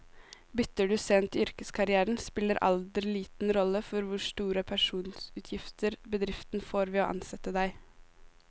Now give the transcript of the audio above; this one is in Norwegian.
Bytter du sent i yrkeskarrieren, spiller alder liten rolle for hvor store pensjonsutgifter bedriften får ved å ansette deg.